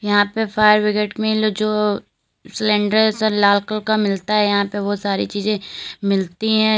यहां पे fire brigade में ये लो जो सिलेंडर सा लाल कलर का मिलता है यहां पे वो सारी चीजे मिलती हैं।